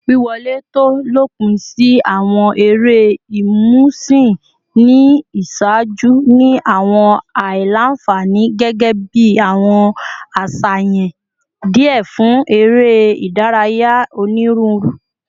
Wiwọle to lopin si awọn ere imusin ni iṣaaju ni awọn aila-nfani, gẹgẹbi awọn aṣayan diẹ fun ere idaraya oniruuru